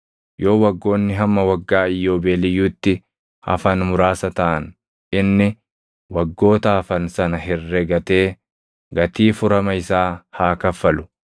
Yoo waggoonni hamma Waggaa Iyyoobeeliyyuutti hafan muraasa taʼan inni waggoota hafan sana herregatee gatii furama isaa haa kaffalu.